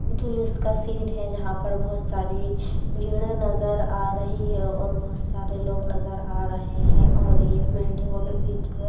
का सीन है जहां पर बहुत सारी भीड़े नजर आ रही है और बहुत सारे लोग नजर आ रहे है और ये बिल्डिंगों के बीच में --